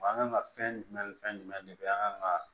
An kan ka fɛn jumɛn ni fɛn jumɛn de an kan ka